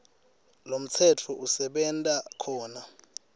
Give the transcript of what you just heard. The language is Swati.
lomtsetfo usebenta khona